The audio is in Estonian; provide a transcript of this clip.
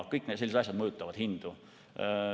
Kõik sellised asjad mõjutavad hindu.